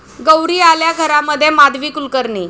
गौरी आल्या घरा'मध्ये माधवी कुलकर्णी